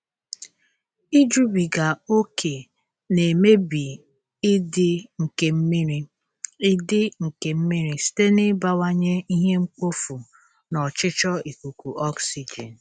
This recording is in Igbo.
Ijubiga ókè na-emebi ịdị nke mmiri ịdị nke mmiri site n'ịbawanye ihe mkpofu na ọchịchọ ikuku oxygen.